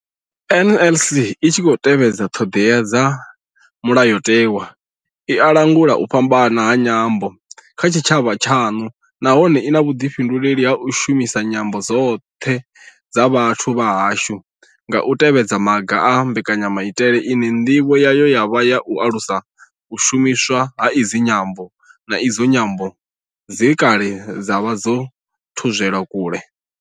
NLS I tshi khou tevhedza ṱhodea dza mulayotewa, i a langula u fhambana ha nyambo kha tshitshavha tshaṋu nahone I na vhuḓifhinduleli ha u shumisa nyambo dzoṱhe dza vhathu vha hashu nga u tevhedza maga a mbekanyamaitele ine ndivho yayo ya vha u alusa u shumiswa ha idzi nyambo, na idzo nyambo dze kale dza vha dzo thudzelwa kule.